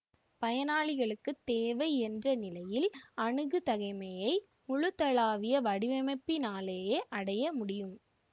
பயனாளிகளுக்கு தேவை என்ற நிலையில் அணுகுதகைமையை முழுதளாவிய வடிவமைப்பினாலேயே அடைய முடியும்